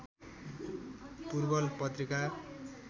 पूर्वल पत्रिका